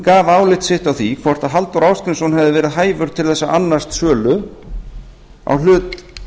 gaf álit sitt á því hvort halldór ásgrímsson hefði verið hæfur til þess að annast sölu á hlut